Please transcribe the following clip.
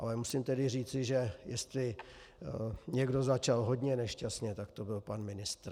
Ale musím tedy říci, že jestli někdo začal hodně nešťastně, tak to byl pan ministr.